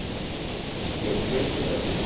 Né porque eu não conhecia o grafite.